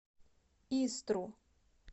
истру